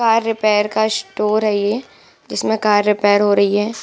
Car repair का store है ये जिसमें कार रिपेयर हो रही है।